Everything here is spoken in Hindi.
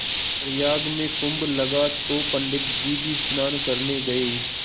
प्रयाग में कुम्भ लगा तो पंडित जी भी स्नान करने गये